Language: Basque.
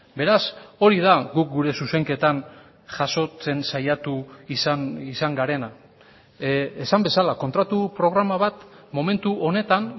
beraz hori da guk gure zuzenketan jasotzen saiatu izan garena esan bezala kontratu programa bat momentu honetan